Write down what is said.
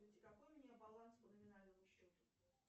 какой у меня баланс по номинальному счету